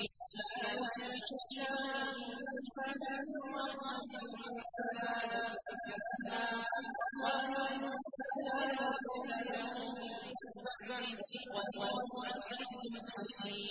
مَّا يَفْتَحِ اللَّهُ لِلنَّاسِ مِن رَّحْمَةٍ فَلَا مُمْسِكَ لَهَا ۖ وَمَا يُمْسِكْ فَلَا مُرْسِلَ لَهُ مِن بَعْدِهِ ۚ وَهُوَ الْعَزِيزُ الْحَكِيمُ